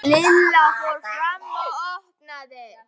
Lilla fór fram og opnaði.